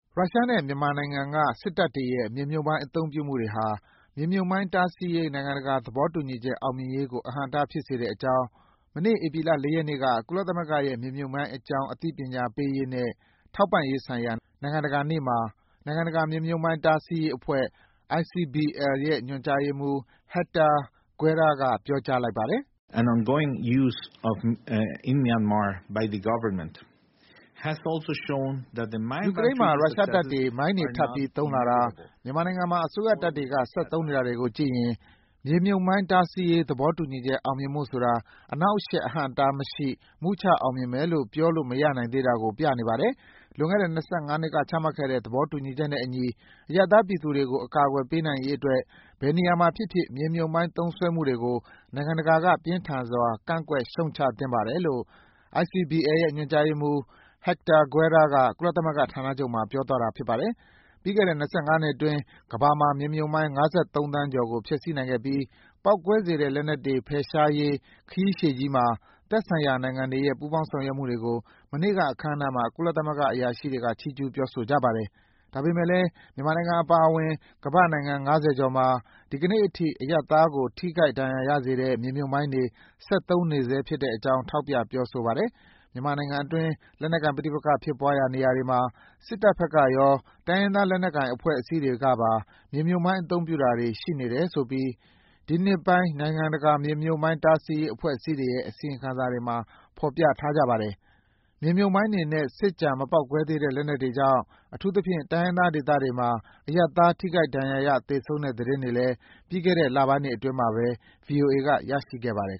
ရုရှားနဲ့မြန်မာနိုင်ငံကစစ်တပ်တွေရဲ့ မြေမြှုပ်မိုင်းအသုံးပြုမှုတွေဟာ မြေမြှုပ်မိုင်းတားဆီးရေး နိုင်ငံတကာ သဘောတူညီချက် အောင်မြင်ရေးကို အဟန့်အတားဖြစ်စေတဲ့အကြောင်း မနေ့ ဧပြီလ ၄ ရက်နေ့က ကုလသမဂ္ဂရဲ့ မြေမြှုပ်မိုင်းအကြောင်း အသိပညာပေးရေးနဲ့ ထောက်ပံ့ရေးဆိုင်ရာ နိုင်ငံတကာနေ့မှာ နိုင်ငံတကာ မြေမြုပ်မှိုင်း တားဆီးရေးအဖွဲ့ ညွန်ကြားရေးမှူး Hector Guerra က ပြောကြားလိုက်ပါတယ်။ “ယူကရိန်းမှာ ရုရှားတပ်တွေ မိုင်းတွေထပ်ပြီး သုံးလာတာ၊ မြန်မာနိုင်ငံမှာအစိုးရတပ်တွေက ဆက်သုံးနေတာတွေကိုကြည့်ရင် မြေမြှုပ်မိုင်း တားဆီးရေး သဘောတူညီချက် အောင်မြင်ဖို့ဆိုတာ အနှောင့်အယှက် အဟန့် အတားမရှိ မုချအောင်မြင်မယ်လို့ ပြောလို့မရနိုင်သေးတာကို ပြနေပါတယ်။ လွန်ခဲ့တဲ့ ၂၅ နှစ်က ချမှတ်ခဲ့တဲ့ သဘောတူညီနဲ့အညီ အရပ်သားပြည်သူတွေကို အကာကွယ်ပေးနိုင်ရေးအတွက် ဘယ်နေရာမှာဖြစ်ဖြစ် မြေမြုပ်မိုင်း သုံးစွဲမှုတွေကို နိုင်ငံတကာက ပြင်းထန်စွာ ကန့်ကွက်ရှုတ်ချသင့်ပါတယ်..”- လို့ ICBL ရဲ့ ညွန်ကြားရေးမှူး Héctor Guerra က ကုလသမဂ္ဂဌာနချုပ်မှာ ပြောသွားတာပါ။ ပြီးခဲ့တဲ့ ၂၅ နှစ်အတွင်း ကမ္ဘာမှာ မြေမြှုပ်မိုင်း ၅၃ သန်းကျော်ကို ဖျက်ဆီးပစ်နိုင်ခဲ့ပြီး ပေါက်ကွဲစေတဲ့လက်နက်တွေ ဖယ်ရှားရေး ခရီးရှည်ကြီးမှာ သက်ဆိုင်ရာနိုင်ငံတွေရဲ့ ပူးပေါင်းဆောင်ရွက်မှုတွေကို မနေ့က အခမ်းအနားမှာ ကုလသမဂ္ဂ အရာရှိတွေ ချီးကျုးပြောဆိုကြပါတယ်။ ဒါပေမယ့်လည်း မြန်မာနိုင်ငံအပါအဝင် ကမ္ဘာ့နိုင်ငံ ငါးဆယ်ကျော်မှာ ဒီနေ့အထိ အရပ်သားတွေကို ထိခိုက်ဒဏ် ရာရစေတဲ့ မြေမြှုပ်မိုင်းတွေ ဆက်သုံးနေဆဲဖြစ်တဲ့အကြောင်း ထောက်ပြ ပြောဆိုတာပါ။ မြန်မာနိုင်ငံအတွင်း လက်နက်ကိုင် ပဋိပက္ခဖြစ်ရာနေရာတွေမှာ စစ်တပ်ဘက်ကရော၊ တိုင်းရင်းသားလက်နက်ကိုင်အဖွဲ့အစည်းတွေကပါ မြေမြှုပ်မိုင်းသုံးတာတွေ ရှိနေတယ်ဆိုပြီး ဒီနှစ်ပိုင်း နိုင်ငံတကာ မြေမြှုပ်မိုင်းတားဆီးရေး အဖွဲ့အစည်းတွေရဲ့ အစီရင်ခံစာတွေမှာ ဖေါ်ပြထားကြတယ်။ မြေမြှုပ်မိုင်းတွေနဲ့ စစ်ကျန် မပေါက်ကွဲသေးတဲ့ လက်နက်တွေကြောင့် အထူးသဖြင့် တိုင်းရင်းသားဒေသတွေမှာ အရပ်သားတွေ ထိခိုက်ဒဏ်ရာရ သေဆုံးတဲ့ သတင်းတွေလည်း ပြီးခဲ့တဲ့လပိုင်းတွေအတွင်းမှာပဲ ဗွီအိုအေက ရရှိခဲ့ပါတယ်